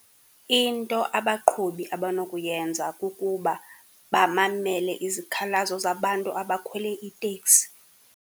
Into abaqhubi abanokuyenza kukuba bamamele izikhalazo zabantu abakhwele iteksi.